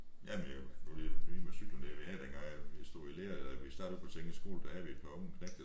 Jamen jo nu lige det nye med cyklen der vi havde dengang jeg stod i lære eller vi startede på teknisk skole der havde vi et par unge knægte